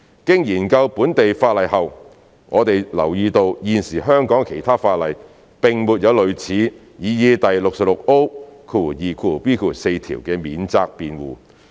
經研究本地法例後，我們留意到現時香港的其他法例並沒有類似擬議第 66O2b 條的免責辯護。